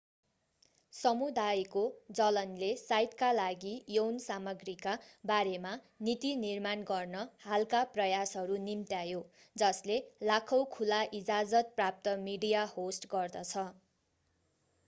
समुदायको जलनले साइटका लागि यौन सामग्रीका बारेमा नीति निर्माण गर्न हालका प्रयासहरू निम्त्यायो जसले लाखौं खुला-इजाजत प्राप्त मिडिया होस्ट गर्दछ